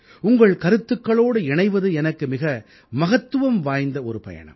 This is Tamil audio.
உங்கள் கருத்துக்களோடு இணைவது எனக்கு மிக மகத்துவம் வாய்ந்த ஒரு பயணம்